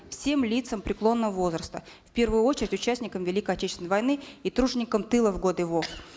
всем лицам преклонного возраста в первую очередь участникам великой отечественной войны и труженикам тыла в годы вов